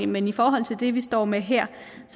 men i forhold til det vi står med her